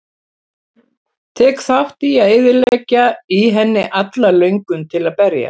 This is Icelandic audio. Tek þátt í að eyðileggja í henni alla löngun til að berjast.